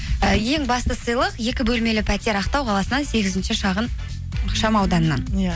і ең басты сыйлық екі бөлмелі пәтер ақтау қаласынан сегізінші шағын ықшам ауданнан иә